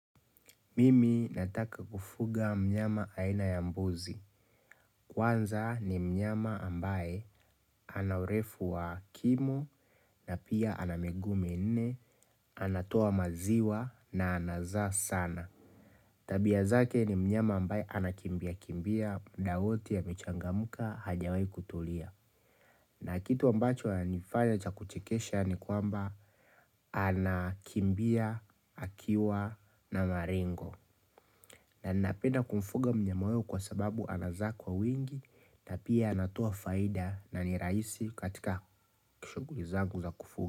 Mimi nataka kufuga mnyama aina ya mbuzi. Kwanza ni mnyama ambaye ana urefu wa kimo na pia ana miguu minne, anatoa maziwa na anazaa sana. Tabia zake ni mnyama ambaye anakimbiakimbia mda wote amechangamka hajawai kutulia. Na kitu ambacho ananifanya cha kuchekesha ni kwamba anakimbia, akiwa na maringo. Na ninapenda kumfuga mnyama huyo kwa sababu anazaa kwa wingi na pia anatoa faida na ni raisi katika ki shughuli zangu za kufuga.